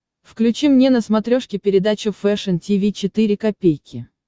включи мне на смотрешке передачу фэшн ти ви четыре ка